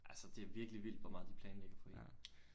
Altså det er virkelig vildt hvor meget de planlægger for en